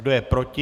Kdo je proti?